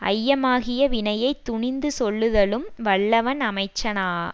ஐயமாகிய வினையை துணிந்து சொல்லுதலும் வல்லவன் அமைச்சனாவான்